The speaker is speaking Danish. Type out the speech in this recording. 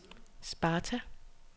Sparta